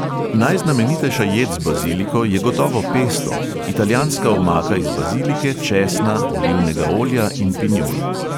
Najznamenitejša jed z baziliko je gotovo pesto, italijanska omaka iz bazilike, česna, olivnega olja in pinjol.